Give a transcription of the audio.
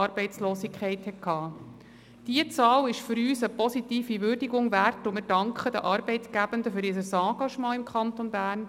Diese Zahl ist für uns eine positive Würdigung wert, und wir danken den Arbeitgebenden für ihr Engagement im Kanton Bern.